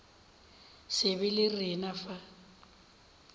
se be le rena fa